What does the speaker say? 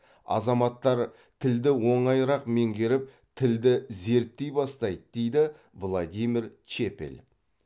азаматтар тілді оңайырақ меңгеріп тілді зерттей бастайды дейді владимир чепель